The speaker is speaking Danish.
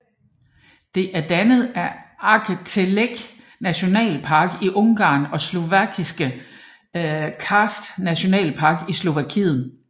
Det er dannet af Aggtelek Nationalpark i Ungarn og Slovakiske Karst Nationalpark i Slovakiet